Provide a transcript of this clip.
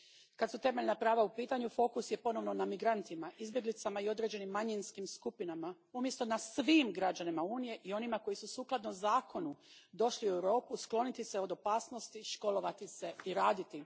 Kad su temeljna prava u pitanju fokus je ponovno na migrantima, izbjeglicama i određenim manjinskim skupinama, umjesto na svim građanima Unije i onima koji su sukladno zakonu došli u Europu skloniti se od opasnosti, školovati se i raditi.